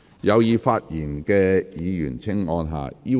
有意發言的議員請按"要求發言"按鈕。